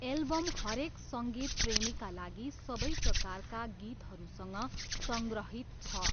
Album हरेक सङ्गीत प्रेमीका लागि सबै प्रकारका गीतहरूसँग सङ्ग्रहित छ।